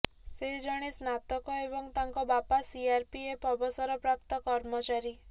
ସେ ଜଣେ ସ୍ନାତକ ଏବଂ ତାଙ୍କ ବାପା ସିଆର୍ପିଏଫ୍ର ଅବସରପ୍ରାପ୍ତ କର୍ମଚାରୀ